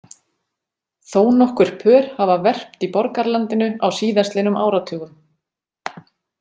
Þónokkur pör hafa verpt í borgarlandinu á síðastliðnum áratugum.